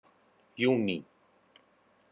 júní